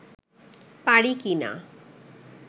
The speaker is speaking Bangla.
পারি কি না